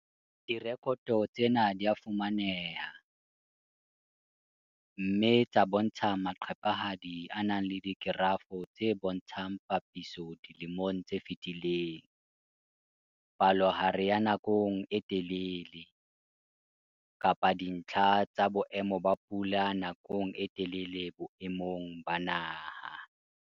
Direkoto tsena di ka fumaneha, mme tsa bontsha maqephehadi, spreadsheets, a nang le dikerafo, graphs, tse bontshang papiso dilemong tse fetileng, palohare ya nakong e telele, kapa dintlha tsa boemo ba pula nakong e telele boemong ba naha.